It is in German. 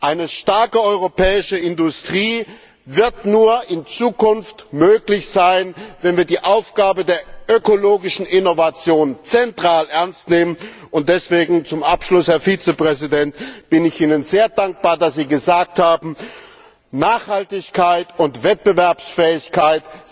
Eine starke europäische Industrie wird in Zukunft nur möglich sein, wenn wir die Aufgabe der ökologischen Innovation auf zentraler Ebene ernst nehmen. Und deswegen zum Abschluss, Herr Vizepräsident, bin ich Ihnen sehr dankbar, dass Sie gesagt haben, dass Nachhaltigkeit und Wettbewerbsfähigkeit